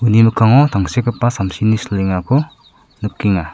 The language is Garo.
uni mikango tangsekgipa samsini silengako nikenga.